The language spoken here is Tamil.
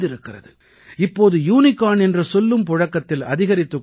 இப்போது யூனிகார்ன் என்ற சொல்லும் புழக்கத்தில் அதிகரித்துக் கொண்டிருக்கிறது